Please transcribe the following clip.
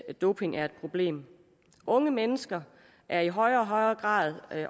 at doping er et problem unge mennesker er i højere og højere grad